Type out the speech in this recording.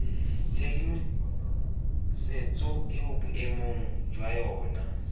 tshedimosetso eo boemong jwa yona